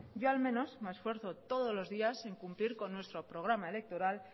yo al menos me esfuerzo todos los días en cumplir con nuestro programa electoral